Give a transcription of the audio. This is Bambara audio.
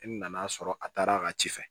E nan'a sɔrɔ a taara a ka ci fɛ